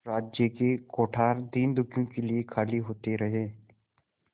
राज्य के कोठार दीनदुखियों के लिए खाली होते रहे